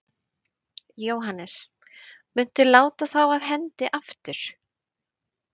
Jóhannes: Muntu láta þá af hendi aftur?